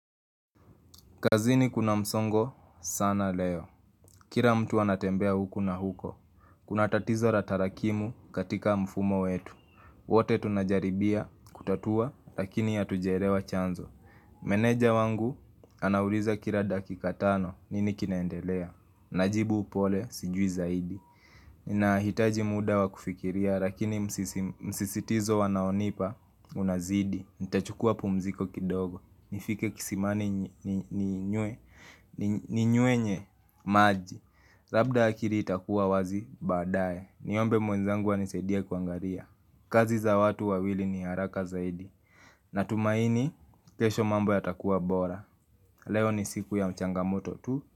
Kazini kuna msongo sana leo. Kira mtu anatembea huku na huko. Kuna tatizo ra tarakimu katika mfumo wetu. Wote tunajaribia kutatua lakini ya hatujaerewa chanzo. Meneja wangu anauliza kira dakika tano nini kinaendelea. Najibu upole sijui zaidi. Ninahitaji mda wa kufikiria, lakini msisitizo wanaonipa unazidi Nitachukua pumziko kidogo, nifike kisimani ninywe ninywenye maji Labda akiri itakuwa wazi, baadaye, niombe mwenzangu anisaidie kuangaria kazi za watu wawili ni haraka zaidi Natumaini, kesho mambo yatakuwa bora Leo ni siku ya m changamoto tu.